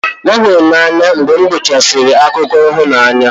M hụrụ n'anya mgbe m gụchara akụkọ ịhụnanya